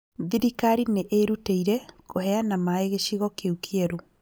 Thirikari nĩĩrutĩire kũheana maaĩ gĩcigo kĩu kĩerũ